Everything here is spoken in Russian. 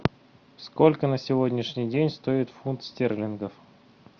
сколько на сегодняшний день стоит фунт стерлингов